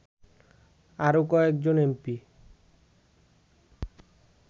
আরো কয়েকজন এমপি